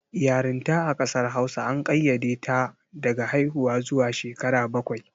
Yarinta a ƙasar Hausa an ƙayyade ta daga haiwuwa zuwa shekara bakwai.